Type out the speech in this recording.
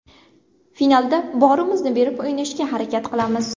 Finalda borimizni berib o‘ynashga harakat qilamiz.